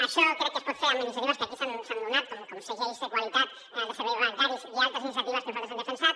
això crec que es pot fer amb iniciatives que aquí s’han donat com segells de qualitat de serveis bancaris i altres iniciatives que nosaltres hem defensat